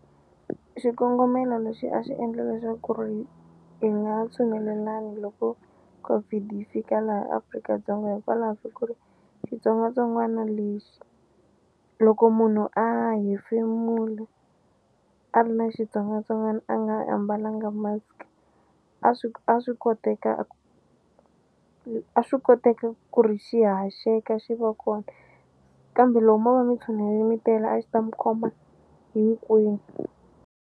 Xikongomelo lexi a xi endle leswaku ri hi nga tshunelelani loko COVID yi fika laha Afrika-Dzonga hikwalaho ka ku ri xitsongwatsongwana lexi loko munhu a hefemula a ri na xitsongwatsongwana a nga a mbalanga mask a swi a swi koteka a swi koteka ku ri xi haxeka xi va kona kambe loko mo va mi tshunele mi tele a xi ta mu khoma hinkwenu.